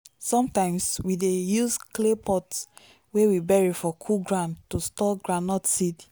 sometimes we dey use clay pot wey we bury for cool ground to store groundnut seed.